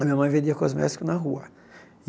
A minha mãe vendia cosmético na rua.